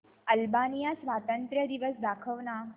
Albania स्वातंत्र्य दिवस दाखव ना